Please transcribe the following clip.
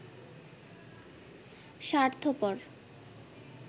স্বার্থপর